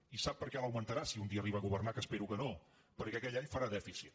i sap per què l’augmentarà si un dia arriba a governar que espero que no perquè aquell any farà dèficit